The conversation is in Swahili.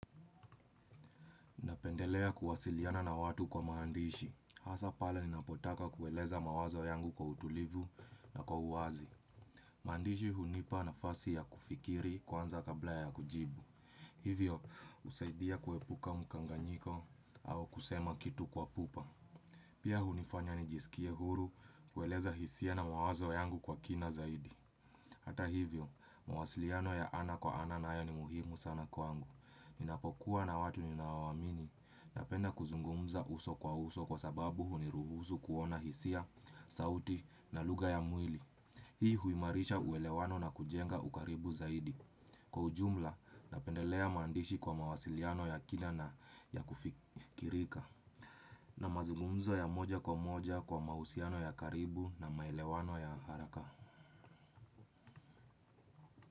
Napendelea kuwasiliana na watu kwa maandishi. Hasa pale ninapotaka kueleza mawazo yangu kwa utulivu na kwa uwazi. Maandishi hunipa nafasi ya kufikiri kwanza kabla ya kujibu. Hivyo, husaidia kuepuka mkanganyiko au kusema kitu kwa pupa. Pia hunifanya nijisikie huru kueleza hisia na mawazo yangu kwa kina zaidi. Hata hivyo, mawasiliano ya ana kwa ana nayo ni muhimu sana kwangu. Ni napokuwa na watu ni naowaamini napenda kuzungumza uso kwa uso kwa sababu huniruhusu kuona hisia, sauti na lugha ya mwili. Hii huimarisha uelewano na kujenga ukaribu zaidi, kwa ujumla napendelea maandishi kwa mawasiliano ya kila na ya kufikirika na mazungumzo ya moja kwa moja kwa mahusiano ya karibu na maelewano ya haraka.